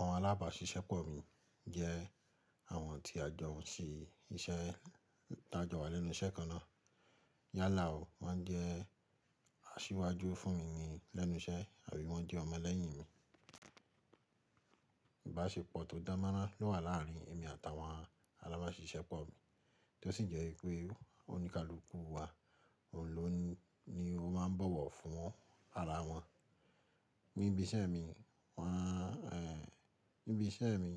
Àwọn alábàáṣiṣẹ́pọ̀ mi jẹ́ àwọn tí a jọ n sí iṣẹ́, ta jọ wà lẹ́nu iṣẹ́ kan náà. Yálà ó, wọ́n jẹ́ asíwájú fún mi ni lẹ́nu iṣẹ́ àbí wọ́n jẹ́ ọmọ lẹ́yìn mi. Ìbáṣepọ̀ tó danmoran ló wà láàrin èmi àtàwọn alábáṣiṣẹ́pọ̀ mi, tó sì jẹ́ pé oníkálùkù wa òun ló ni ó máa ń bọ̀wọ̀ fún ara wọn. Níbi iṣẹ́ mi, wọ́n eh, níbi iṣẹ́ mi,